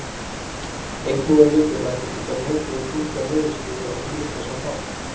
Einnig er mikilvægt að geta metið og túlkað niðurstöður á hlutlausan hátt.